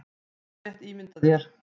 Þú getur rétt ímyndað þér